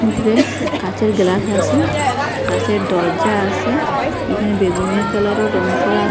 উফরে কাচের গ্লাস আসে কাচের দরজা আসে এখানে বেগুনি কালারও রং করা--